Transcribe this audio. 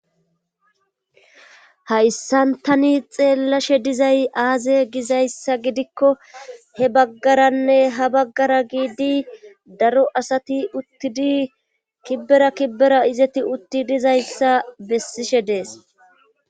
hayssan tani xeellashe dizay aaze gizayssa gidikko he baggaranne ha baggara giidi daro asati uttidi kibbera kibbera izeti utti dizayssa bessishe dees